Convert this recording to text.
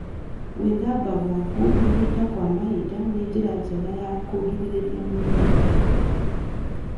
Gũthambia gwaku mahinda kwa mahinda nĩ njĩra njega ya kũgirĩrĩria mĩrimũ.